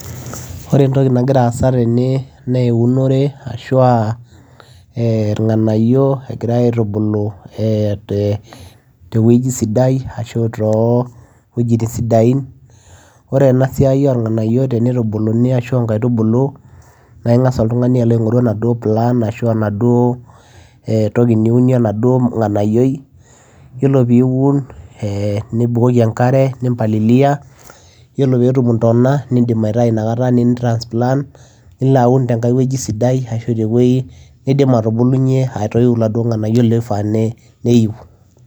ore entoki nagira aasa tene naa eunore ashua eh irng'anayio egirae aitubulu eh te tewueji sidai ashu too wuejitin sidain ore ena siai orng'anayio tenitubuluni ashua inkaitubulu naa ing'as oltung'ani alo aing'oru enaduo plan ashu enaduo eh toki niunie enaduo ng'anayioi yiolo piun eh nibukoki enkare nimpalilia yiolo petum intona nindim aitai inakata nin transpant nilo aun tenkae wueji sidai ashu tewueji nidim atubulunyie atoiu iladuo ng'anayio loifaa ne neyi.